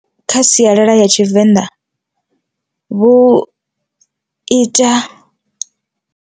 Kha sialala ya tshivenḓa vhu ita.